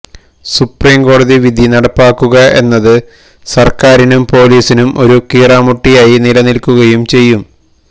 സുപ്രീംകോടതി വിധി നടപ്പാക്കുക എന്നത് സര്ക്കാരിനും പോലീസിനും ഒരു കീറാമുട്ടിയായി നിലനില്ക്കുകയും ചെയ്യും